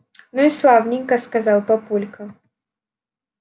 ну и славненько сказал папулька